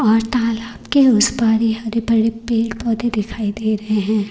और तालाब के उस पार ये हरे भरे पेड़ पौधे दिखाई दे रहे हैं।